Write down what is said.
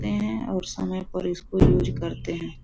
हैं और समय पर इसको यूज़ करते हैं।